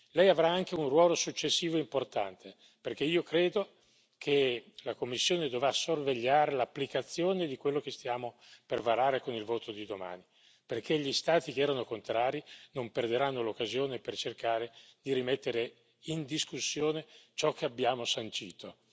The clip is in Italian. Lei avrà anche un ruolo successivo importante, perché io credo che la Commissione dovrà sorvegliare l'applicazione di quello che stiamo per varare con il voto di domani, perché gli Stati che erano contrari non perderanno l'occasione per cercare di rimettere in discussione ciò che abbiamo sancito.